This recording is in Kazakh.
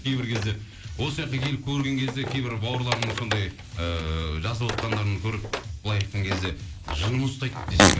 кейбір кезде осы жаққа келіп көрген кезде кейбір бауырларымыз сондай ыыы жазып отқандарын көріп былай айтқан кезде жыным ұстайды десең